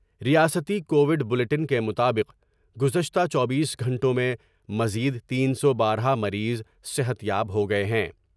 ریاستی Covid bulletin کے مطابق گذشتہ چوبیس گھنٹوں میں مزید تین سو بارہ مریض صحت یاب ہو گئے ہیں ۔